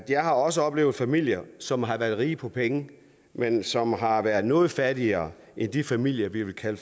jeg også oplevet familier som har været rige på penge men som har været noget fattigere end de familier vi vil kalde